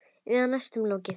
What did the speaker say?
Eða næstum lokið.